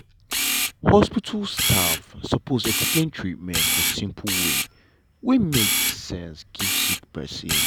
hospital staff sopose explain treatment for simple way wey make sense give sick pesin.